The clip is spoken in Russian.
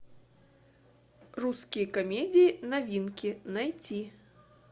русские комедии новинки найти